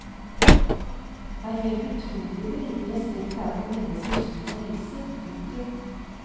Det er helt utrolig hvor liten respekt det er for menneskers liv og helse. punktum